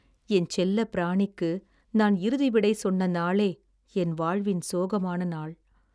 என் செல்லப் பிராணிக்கு நான் இறுதி விடை சொன்ன நாளே என் வாழ்வின் சோகமான நாள்.